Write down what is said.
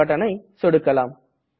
print buttonஜ சொடுக்கலாம்